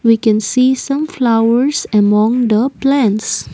we can see some flowers among the plants.